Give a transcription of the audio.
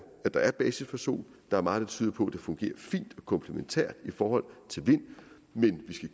at der er basis for sol der er meget der tyder på at det fungerer fint og komplementært i forhold til vind men